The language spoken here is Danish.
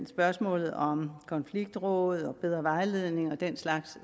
spørgsmålet om konfliktråd bedre vejledning og den slags